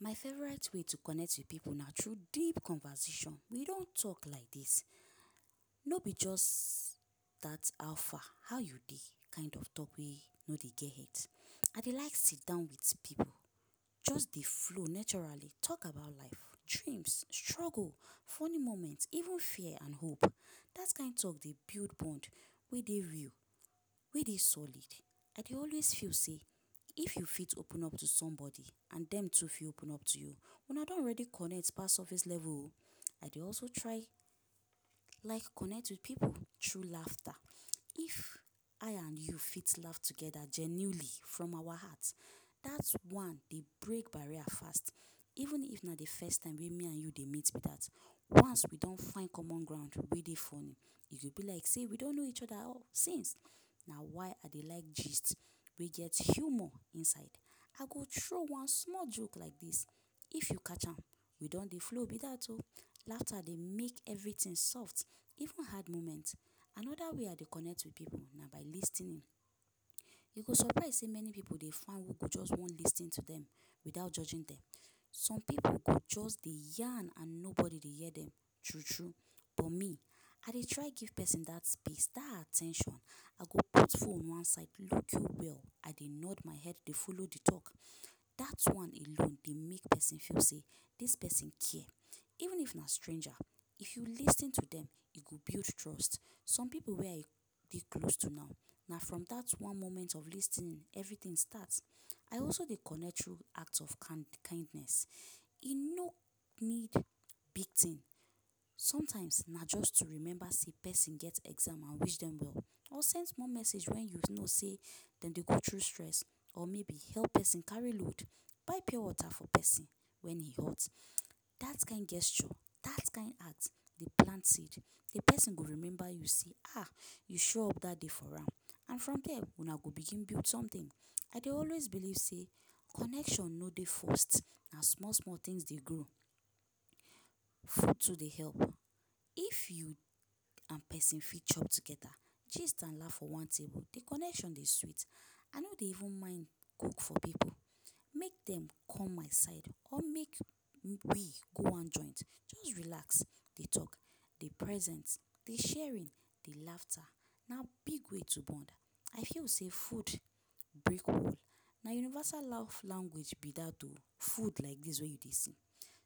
My favourite way to connect with pipu na through deep conversation. We don talk like dis. No be just that ‘how far’, ‘how you dey’ kind of talk wey no dey get head. I dey like sidan with pipu just dey flow naturally talk about life, dreams, struggle, funny moment even fear and hope. That kind talk dey build bond wey dey real, wey dey solid. I dey always feel sey if you fit open up to somebody and dem too fit open up to you, una don already connect pass surface level o. I dey also try like connect with pipu through laughter. If I and you fit laff together genuinely from awa heart, that one dey break barrier fast, even if na the first time wey me and you dey meet be that. Once we don find common ground wey dey funny, e go be like sey we don know each other since. Na why I dey like gist wey get humour inside. I go throw one small joke like this. If you catch am, we don dey flow be that o! Laughter dey make everything soft, even hard moments. Another way I dey connect with pipu na by lis ten ing. You go surprise sey many pipu dey find who go just wan lis ten to dem without judging dem. Some pipu go just dey yarn and nobody dey hear dem true-true. But me, I dey try give pesin that space, that at ten tion. I go put phone one side, look you well. I dey nod my head dey follow the talk. That one alone dey make pesin feel sey dis pesin care. Even if na stranger, if you lis ten to dem, e go build trust. Some pipu wey I dey close to now, na from that one moment of lis ten ing everything start. I also dey connect through act of kindness. E no need big thing. Sometimes, na just to remember sey pesin get exam and wish dem well or send small message wey you know sey de dey go through stress or maybe help pesin carry load, buy pure water for pesin when e hot. That kind gesture, that kind act dey plant seed. The pesin go remember you say ah! you show up that day for am. And from there, una go begin build something. I dey always believe sey connection no dey forced, na small-small things dey grow. Food too dey help. If you and pesin fit chop together, gist and laff for one table, the connection dey sweet. I no dey even mind cook for pipu. Make dem come my side or make we go one joint just relax, dey talk, dey present, dey sharing, dey laughter, na big way to bond. I feel sey food na universal laff language be that o! Food like dis wey you dey see.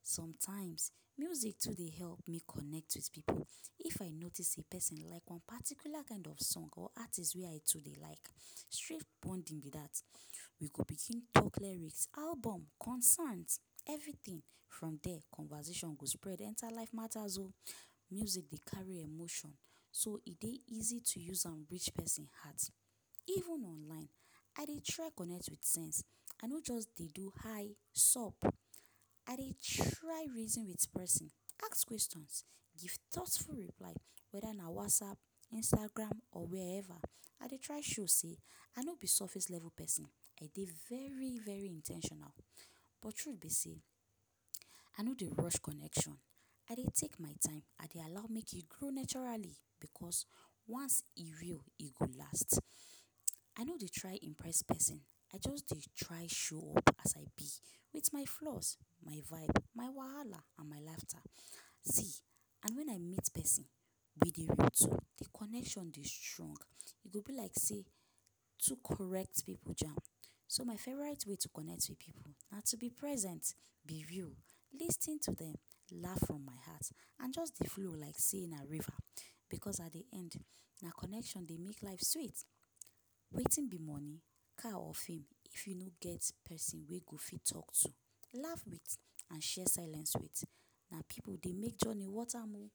Sometimes, music too dey help me connect with pipu. If I notice sey pesin like one particular kind of song or artist wey I too dey like, straight bonding be that. We go begin talk lyrics, album, concerns, everything. From there, conversation go spread enter life matas o! Music dey carry emotion, so e dey easy to use am reach pesin heart. Even online, I dey try connect with sense. I no just dey do ‘hi!’, ‘sup!’. I dey try reason with pesin, ask questions, give thoughtful reply. Whether na WhatsApp, Instagram or wherever, I dey try show sey I no be surface-level pesin, I dey very-very in ten tional. But truth be sey, I no dey rush connection, I dey take my time. I dey allow make e grow naturally, because once e real, e go last. I no dey try impress pesin, I just dey try show up as I be with my my flaws, my vibe, my wahala and my laughter. See, and when I meet pesin wey dey root, the connection dey strong. E go be like sey two correct pipu jam. So my favourite way to connect with pipu na to be present, be real, lis ten to dem, laff from my heart and just dey flow like sey na river. Because at the end, na connection dey make life sweet. Wetin be money, car or fame if you no get pesin wey go fit talk to, laff with and share silence with? Na pipu dey make journey worth am o!